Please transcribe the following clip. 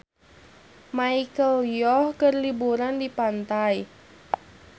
Michelle Yeoh keur liburan di pantai